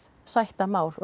sætta mál og